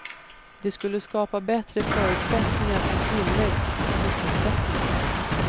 Det skulle skapa bättre förutsättningar för tillväxt och sysselsättning.